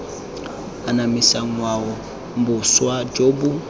anamisa ngwao boswa jo bo